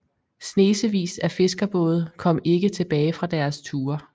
Snesevis af fiskerbåde kom ikke tilbage fra deres ture